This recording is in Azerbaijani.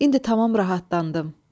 İndi tamam rahatlandım.